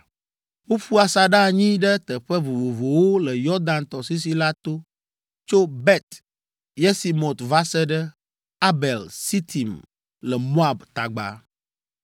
Woƒu asaɖa anyi ɖe teƒe vovovowo le Yɔdan tɔsisi la to tso Bet Yesimot va se ɖe Abel Sitim le Moab tagba.